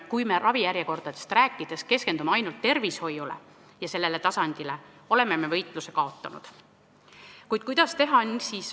Kui me ravijärjekordadest rääkides keskendume ainult tervishoiule, sellele tasandile, siis oleme me võitluse kaotanud.